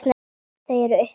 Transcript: Þau eru uppi.